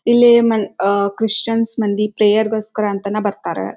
ಇಲ್ಲಿ ಮನ್ ಅಹ್ ಕ್ರಿಶ್ಚಿ ಯನ್ ಮಂದಿ ಪ್ರೇಯರ್ ಗೋಸ್ಕರ ಅಂತನೇ ಬರ್ತಾರೆ.